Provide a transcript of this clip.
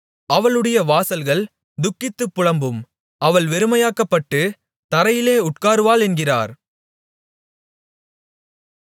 அவளுடைய வாசல்கள் துக்கித்துப் புலம்பும் அவள் வெறுமையாக்கப்பட்டுத் தரையிலே உட்காருவாள் என்கிறார்